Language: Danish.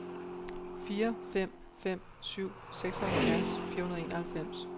fire fem fem syv seksoghalvfjerds fire hundrede og enoghalvfems